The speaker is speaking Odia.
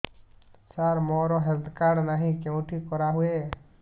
ସାର ମୋର ହେଲ୍ଥ କାର୍ଡ ନାହିଁ କେଉଁଠି କରା ହୁଏ